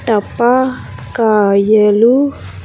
టపా కాయలు.